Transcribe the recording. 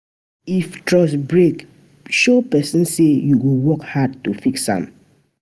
If trust break, show pesin say yu go work hard to to fix am.